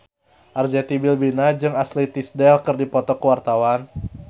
Arzetti Bilbina jeung Ashley Tisdale keur dipoto ku wartawan